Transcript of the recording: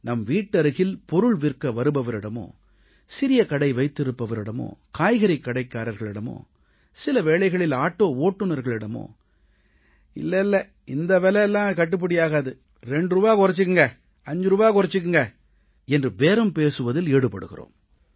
நம் வீட்டருகில் பொருள் விற்க வருபவரிடமோ சிறிய கடை வைத்திருப்பவரிடமோ காய்கறிக் கடைக்காரர்களிடமோ சில வேளைகளில் ஆட்டோ ஓட்டுனர்களிடமோ இல்லை இந்த விலை கிடையாது 2 ரூபாய் குறைத்துக் கொள்ளுங்கள் 5 ரூபாய் குறைத்துக் கொள்ளுங்கள் என்று பேரம் பேசுவதில் ஈடுபடுகிறோம்